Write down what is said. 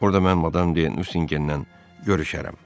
Orada mən Madam de Nusingendən görüşərəm.